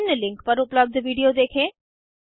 निम्न लिंक पर उपलब्ध विडिओ देखें